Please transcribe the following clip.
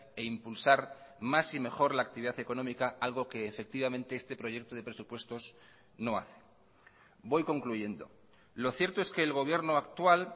e impulsar más y mejor la actividad económica algo que efectivamente este proyecto de presupuestos no hace voy concluyendo lo cierto es que el gobierno actual